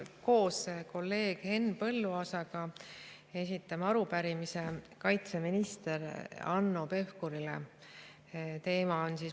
Koos kolleeg Henn Põlluaasaga esitan arupärimise kaitseminister Hanno Pevkurile.